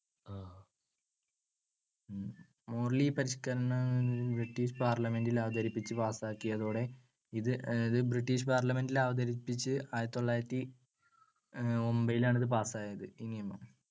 Morley പരിഷ്‌ക്കരണം British Parliament ൽ അവതരിച്ചു പാസ്സാക്കിയതോടെ. ഇത് ബ്രിട്ടീഷ് Parliament ൽ അവതരിപ്പിച്ചു ആയിരത്തിതൊള്ളായിരത്തി യൊൻപത്തിലാണ്‌ ഇത് പാസായത്, ഈ നിയമം.